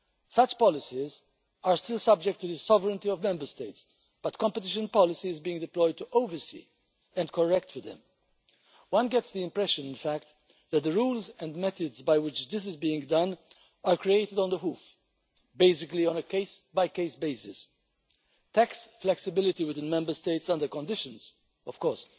Such policies are still subject to the sovereignty of Member States, but competition policy is being deployed to oversee and correct for them. One gets the impression, in fact, that the rules and methods by which this is being done are created on the hoof basically, on a case by case basis. Tax flexibility within Member States under conditions, of course.